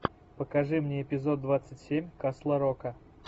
покажи мне эпизод двадцать семь касла рока